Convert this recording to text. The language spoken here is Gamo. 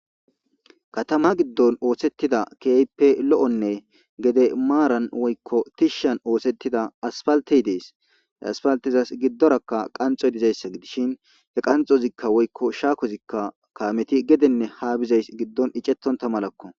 katama giddon oosettida keeyppe lo7onne gede maaran woykko tishshan oosettida aspaltey dees asfaltizas giddorakka qanxoy dizayssa gidishin he qanxozikka woykko shaakozikka kaameti gedenne ha bizays giddon icettonta malakko